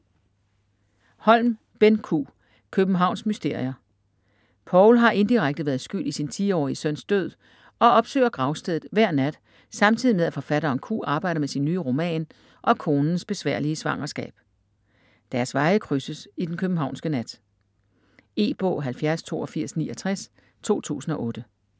Holm, Benn Q.: Københavns mysterier Paul har indirekte været skyld i sin 10-årige søns død og opsøger gravstedet hver nat samtidig med at forfatteren Q arbejder med sin nye roman og konens besværlige svangerskab. Deres veje krydses i den københavnske nat. E-bog 708269 2008.